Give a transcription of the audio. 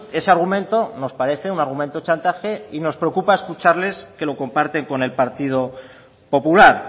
ese argumento nos parece un argumento chantaje y nos preocupa escucharles que lo comparten con el partido popular